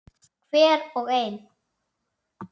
Hver og ein.